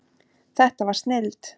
Þetta var snilld.